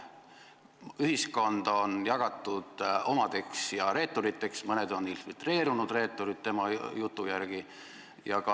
Ühiskond on jagatud omadeks ja reeturiteks, mõned on tema jutu järgi infiltreerunud reeturid.